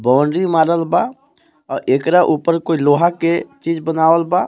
Boundary मारल बा आ एकरा ऊपर कोई लोहा के चीज बनावल बा.